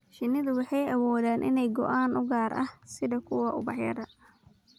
Shinnidu waxay awoodaan inay ogaadaan ur gaar ah, sida kuwa ubaxyada.